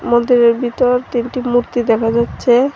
মন্দিরের ভিতর তিনটি মূর্তি দেখা যাচ্ছে।